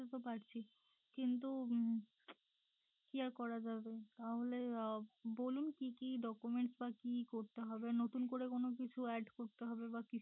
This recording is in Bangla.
বুঝতে তো পারছি কিন্তু উম কি আর করা যাবে তাহলে বলুন কি কি document বা কি করতে হবে নতুন করে কোনো কিছু add করতে হবে বা কি?